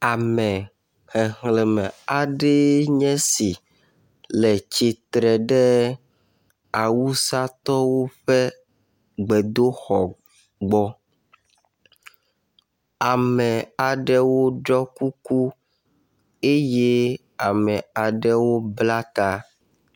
Ame xexlẽme aɖee nye si le tsitre ɖe awusatɔwo ƒe gbedoxɔ gbɔ. Ame aɖewo ɖɔ kuku eye ame aɖewo bla ta.